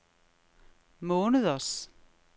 måneders